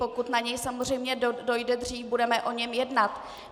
Pokud na něj samozřejmě dojde dřív, budeme o něm jednat.